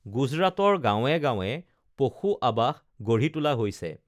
গুজৰাটৰ গাঁৱে গাঁৱে পশু আবাস গঢ়ি তোলা হৈছে